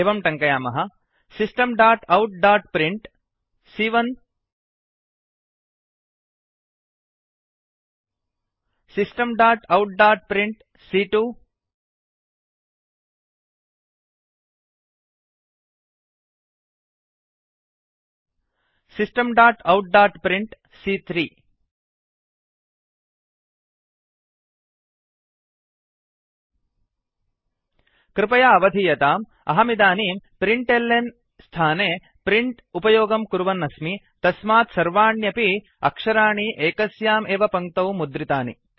एवं टङ्कयामः systemoutप्रिंट system dot out dot print सी॰॰1 सि एकम् Systemoutprintसिस्टम् डाट् औट् डाट् प्रिण्ट् सी॰॰2 सि द्वयम् Systemoutprintसिस्टम् डाट् औट् डाट् प्रिण्ट् सी॰॰3 सि त्रयम् कृपया अवधीयताम् अहमिदानीं प्रिंटल्न प्रिण्ट् एल् एन् स्थाने प्रिंट प्रिण्ट् उपयोगं कुर्वन् अस्मि तस्मात् सर्वाण्यपि अक्षराणि एकस्याम् एव पङ्क्तौ मुद्रितानि